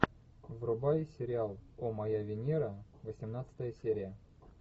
врубай сериал о моя венера восемнадцатая серия